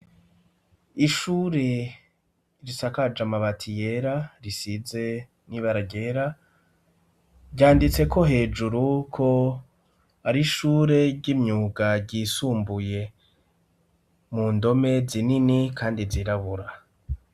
Ishure risakaje amabati yera, risize n'ibara ryera ryanditseko hejuru ko ari ishure ry'imyuga ryisumbuye, mu ndome zinini kandi zirabura.